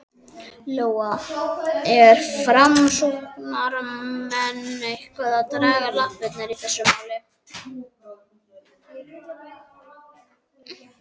Lóa: Eru framsóknarmenn eitthvað að draga lappirnar í þessu máli?